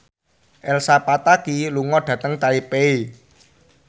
Elsa Pataky lunga dhateng Taipei